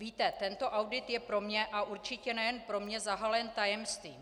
Víte, tento audit je pro mne, a určitě nejen pro mne, zahalen tajemstvím.